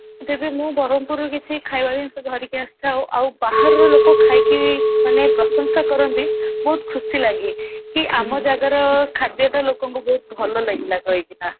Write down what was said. ତେବେ ମୁଁ ବ୍ରହ୍ମପୁର ରୁ କିଛି ଖାଇବା ଜିନିଷ ଧରିକି ଆସିଥାଉ ଆଉ ଆଉ ବାହାରର ଲୋକ ଖାଇକି ମାନେ ପ୍ରଶଂସା କରନ୍ତି ବହୁତ ଖୁସି ଲାଗେ କି ଆମ ଜାଗାର ଖାଦ୍ୟ ଟା ଲୋକଙ୍କୁ ବହୁତ ଭଲ ଲାଗିଲା କହିକିନା